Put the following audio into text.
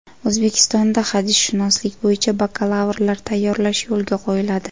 O‘zbekistonda hadisshunoslik bo‘yicha bakalavrlar tayyorlash yo‘lga qo‘yiladi.